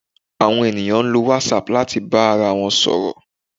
Àwọn ènìyàn ń lo whatsapp láti bára wọn sọ̀rọ̀